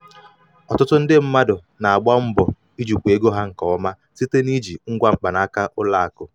ọtụtụ ndị mmadụ ndị mmadụ na-agba mbọ ijikwa ego ha nke ọma site n'iji ngwa mkpanaka ụlọ akụ.